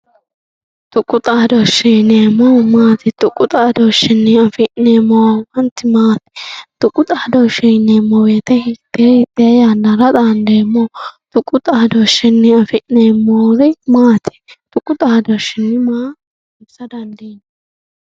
tuqu dhaadooshe yineemohu maati tuqu dhaadooshiinni afi'neemo horonti maati tuqu dhaadooshe yineemo woyiite hittee hittee yannara xaandeemoho tuqu xaadooshshinni afi'neemori maati tuqu dhaadooshinni maa assa dandiinanni